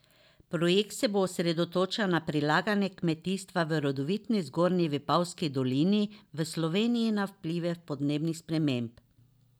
Projekt se bo osredotočal na prilagajanje kmetijstva v rodovitni Zgornji Vipavski dolini v Sloveniji na vplive podnebnih sprememb.